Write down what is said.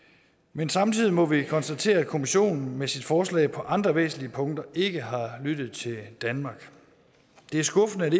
men samtidig må vi konstatere at kommissionen med sit forslag på andre væsentlige punkter ikke har lyttet til danmark det er skuffende at